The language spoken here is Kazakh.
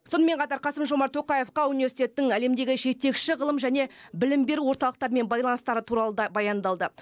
сонымен қатар қасым жомарт тоқаевқа университеттің әлемдегі жетекші ғылым және білім беру орталықтарымен байланыстары туралы да баяндалды